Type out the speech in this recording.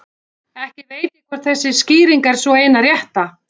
Ekki veit ég hvort þessi skýring er sú eina rétta.